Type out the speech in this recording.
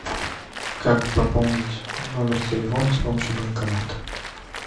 как пополнить номер телефона с помощью банкомата